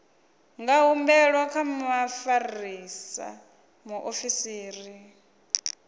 nga humbelwa kha mufarisa muofisiri